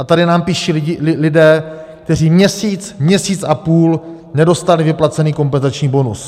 A tady nám píší lidé, kteří měsíc, měsíc a půl nedostali vyplacen kompenzační bonus.